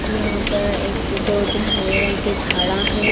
यहाँ पर एक दो तीन हरे रंग के झाड़ा हैं।